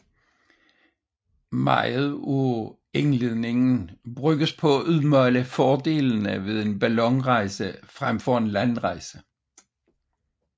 Meget af indledningen bruges på at udmale fordelene ved en ballonrejse frem for en landrejse